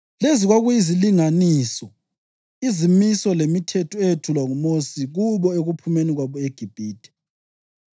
Lezi kwakuyizilinganiso, izimiso lemithetho eyethulwa nguMosi kubo ekuphumeni kwabo eGibhithe